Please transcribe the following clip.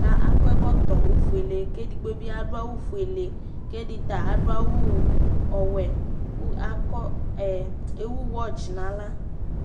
kɔ ɛkɔɛkoto õfuɛlɛ kɛdigbobiɑ duɑwu ƒuɛlɛ kɛditɑ ɑdu ɑwu ɔwɛ kuɑkɔ ɛ ɛwuwɛtsi nɑlɑ